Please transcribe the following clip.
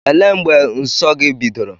Elee mgbe nsọ gị bidoro?